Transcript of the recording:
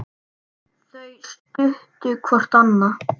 Þau studdu hvort annað.